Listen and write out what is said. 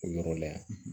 O yɔrɔ la yan